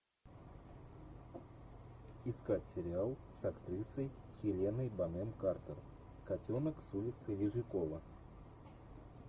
искать сериал с актрисой хеленой бонем картер котенок с улицы лизюкова